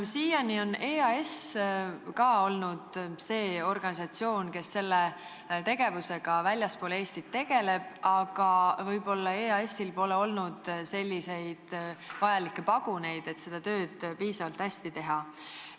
Siiani on ka EAS olnud organisatsioon, kes on sellega väljaspool Eestit tegelenud, aga võib-olla pole EAS-il olnud selliseid vajalikke paguneid, et seda tööd piisavalt hästi teha.